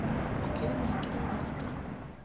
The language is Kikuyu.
ũkĩrĩma ĩkĩra iratũ.